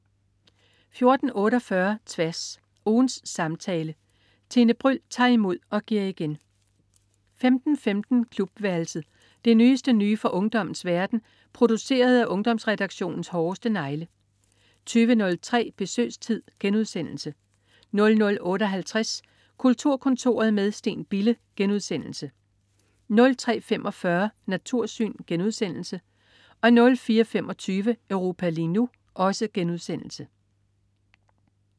14.48 Tværs. Ugens samtale. Tine Bryld tager imod og giver igen 15.15 Klubværelset. Det nyeste nye fra ungdommens verden, produceret af Ungdomsredaktionens hårdeste negle 20.03 Besøgstid* 00.58 Kulturkontoret med Steen Bille* 03.45 Natursyn* 04.25 Europa lige nu*